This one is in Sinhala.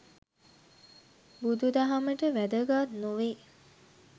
බුදුදහමට වැදගත් නොවේ.